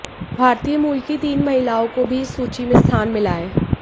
भारतीय मूल की तीन महिलाओं को भी इस सूची में स्थान मिला है